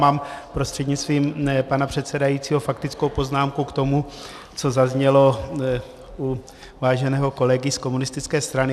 Mám prostřednictvím pana předsedajícího faktickou poznámku k tomu, co zaznělo u váženého kolegy z komunistické strany.